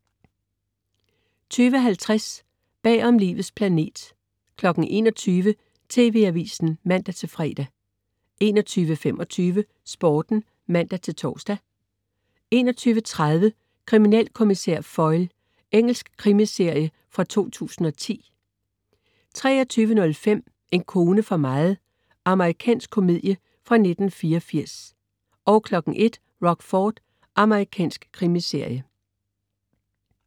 20.50 Bagom Livets planet 21.00 TV Avisen (man-fre) 21.25 Sporten (man-tors) 21.30 Kriminalkommissær Foyle. Engelsk krimiserie fra 2010 23.05 En kone for meget. Amerikansk komedie fra 1984 01.00 Rockford. Amerikansk krimiserie